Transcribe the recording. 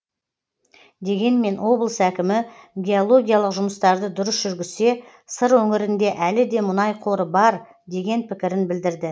дегенмен облыс әкімі геологиялық жұмыстарды дұрыс жүргізсе сыр өңірінде әлі де мұнай қоры бар деген пікірін білдірді